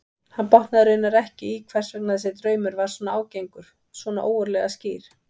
Hann botnaði raunar ekki í hvers vegna þessi draumur var svona ágengur, svona ógurlega skýr.